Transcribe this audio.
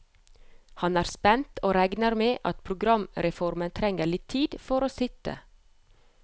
Han er spent, og regner med at programformen trenger litt tid for å sitte.